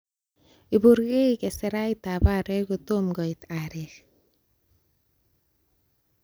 Ipurgei keserait ab aarek kotomo koit aarek.